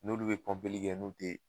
N'olu de bɛ kɛ n'o tɛ